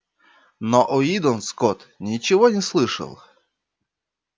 но уидон скотт ничего не слышал